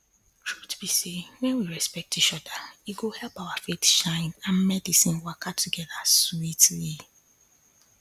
truth be say when we respect each other e go help our faith shine and medicine waka together sweetly